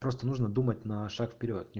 просто нужно думать на шаг вперёд не